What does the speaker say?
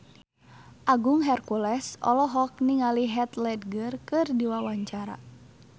Agung Hercules olohok ningali Heath Ledger keur diwawancara